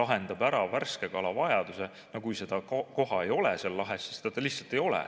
lahendaks ära värske kala vajaduse – no kui seda koha ei ole seal lahes, siis seda lihtsalt ei ole.